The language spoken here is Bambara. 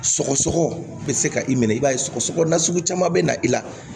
Sɔgɔsɔgɔ bɛ se ka i minɛ i b'a ye sɔgɔsɔgɔ nasugu caman bɛ na i la